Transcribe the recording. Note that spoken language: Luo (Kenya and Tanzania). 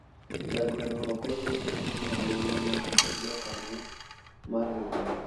jagoro ok oyiene ting'o omenda mag jokanyo mar riwruok